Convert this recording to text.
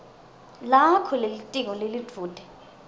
lakho lelitiko lelidvute